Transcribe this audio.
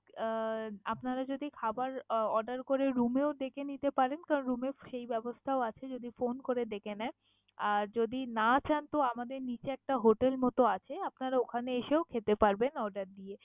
আহ আপনারা যদি খাবার আহ order করে room এও ডেকে নিতে পারেন। কারন room এ সেই ব্যবস্থাও আছে যদি phone করে ডেকে নেন। আর যদি না চান তো আমাদের নিচে একটা hotel মতো আছে, আপনারা ওখানে এসেও খেতে পারবেন order দিয়ে।